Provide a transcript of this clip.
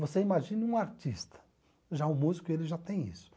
Você imagina um artista, já um músico, ele já tem isso.